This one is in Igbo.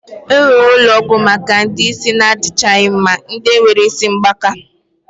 E nwere ulo ogwu Maka ndi isi na adichaghi mma. Ndi nwere isi mgbaka